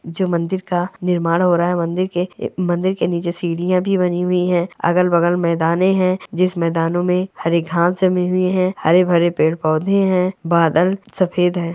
जो मंदिर का निर्माण हो रहा है मंदिर के मंदिर के नीचे सीढ़ियां भी बनी हुई है अगल-बगल मैदाने है मैदाने में हरे घास जमे हुए है हरे-भरे पेड़-पौधे है बादल सफेद है।